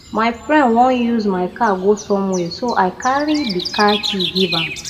my friend wan use my car go somewhere so i carry the car key give am